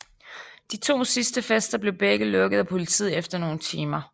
De to sidste fester blev begge lukket af politiet efter nogle timer